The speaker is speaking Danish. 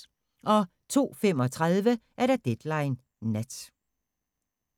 02:35: Deadline Nat